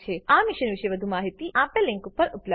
આ પર વધુ માહીતી આપેલ લીંક પર ઉપલબ્ધ છે